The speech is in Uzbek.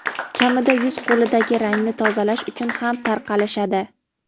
kamida yuz-qo‘lidagi rangni tozalash uchun ham tarqalishadi.